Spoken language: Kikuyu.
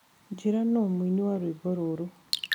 njĩĩra no mũĩnĩ wa rwĩmbo ruru